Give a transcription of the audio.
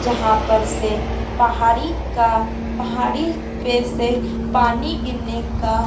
जहां पर से पहाड़ी का पहाड़ी पे से पानी गिरने का--